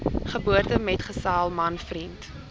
geboortemetgesel man vriend